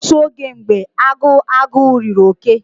Otu oge mgbe agu agu riri oke